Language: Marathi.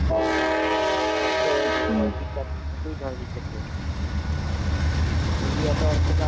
मात्र दुसऱ्यावर्षी त्यातलं एकही झाड दिसत नाही. म्हणजे याचा अर्थ काय?